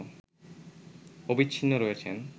অবিচ্ছিন্ন রয়েছেন